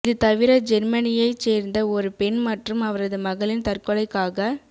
இது தவிர ஜேர்மனியைச் சேர்ந்த ஒரு பெண் மற்றும் அவரது மகளின் தற்கொலைகளுக்காக